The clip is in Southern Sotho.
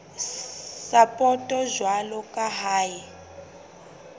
sapoto jwalo ka ha e